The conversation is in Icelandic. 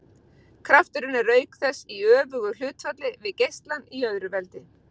Krafturinn er auk þess í öfugu hlutfalli við geislann í öðru veldi.